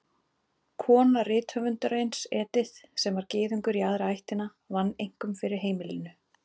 Kona rithöfundarins, Edith, sem var Gyðingur í aðra ættina, vann einkum fyrir heimilinu.